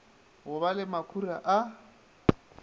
go ba le makhura a